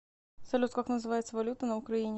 салют как называется валюта на украине